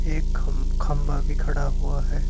एक खम खंभा भी खड़ा हुआ है।